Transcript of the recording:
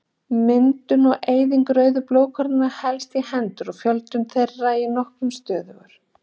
Myndun og eyðing rauðu blóðkornanna helst í hendur svo fjöldi þeirra er nokkuð stöðugur.